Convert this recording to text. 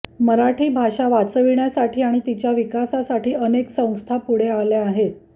मराठी भाषा वाचविण्यासाठी आणि तिच्या विकासासाठी अनेक संस्था पुढे आल्या आहेत